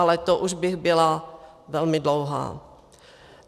Ale to už bych byla velmi dlouhá.